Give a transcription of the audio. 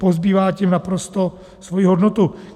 Pozbývá tím naprosto svoji hodnotu.